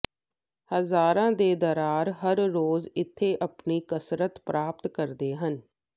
ਹਜ਼ਾਰਾਂ ਦੇ ਦਰਾਂਰ ਹਰ ਰੋਜ਼ ਇੱਥੇ ਆਪਣੀ ਕਸਰਤ ਪ੍ਰਾਪਤ ਕਰਦੇ ਹਨ